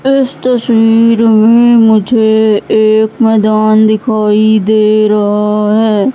इस तस्वीर में मुझे एक मैदान दिखाई दे रहा है।